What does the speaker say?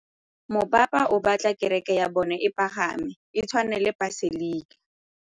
Mopapa o batla kereke ya bone e pagame, e tshwane le paselika.